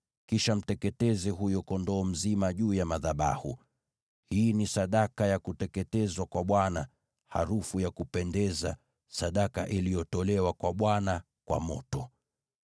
Kisha mteketeze huyo kondoo dume mzima juu ya madhabahu. Hii ni sadaka ya kuteketezwa kwa Bwana , harufu ya kupendeza, sadaka iliyotolewa kwa Bwana kwa moto.